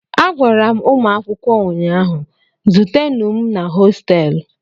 Agwara m ụmụ akwụkwọ ụnyahụ, zutenụ m na hostelụ